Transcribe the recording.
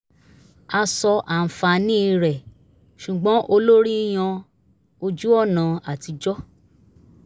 a sọ àǹfààní rẹ̀ ṣùgbọ́n olórí yan ojú-ọ̀nà atijọ́